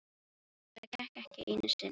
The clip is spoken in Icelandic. En það gekk ekki einu sinni.